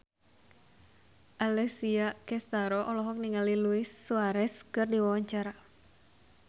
Alessia Cestaro olohok ningali Luis Suarez keur diwawancara